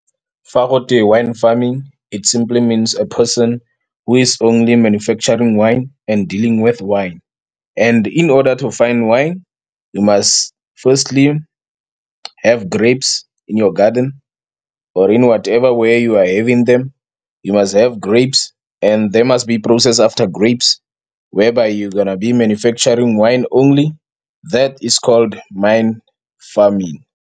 Fa gotwe wine farming, it simply means a person who is only manufacturing wine and-e dealing with wine. And-e, in order to find wine, you must firstly have grapes in your garden-e or-e in whatever where you are having them. You must have grapes and-e there must be a process after grapes, whereby you gonna be manufacturing wine only. That is called wine farming.